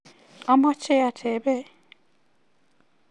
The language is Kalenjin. Ameche atebee